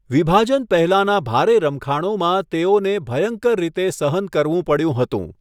વિભાજન પહેલાના ભારે રમખાણોમાં તેઓને ભયંકર રીતે સહન કરવું પડ્યું હતું.